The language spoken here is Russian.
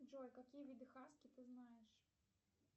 джой какие виды хаски ты знаешь